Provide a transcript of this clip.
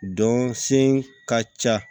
Dɔn sen ka ca